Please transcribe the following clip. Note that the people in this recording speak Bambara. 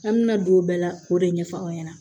An mina don o bɛɛ la k'o de ɲɛfɔ aw ɲɛna